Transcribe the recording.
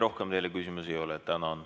Rohkem teile küsimusi ei ole.